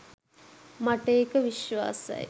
මට ඒක විශ්වාසයි.